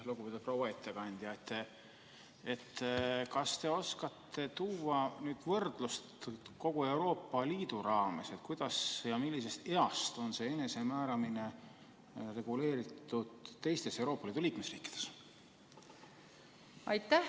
Lugupeetud proua ettekandja, kas te oskate tuua võrdlust kogu Euroopa Liidu raames, kuidas ja millisest east alates on see enesemääramine reguleeritud teistes Euroopa Liidu liikmesriikides?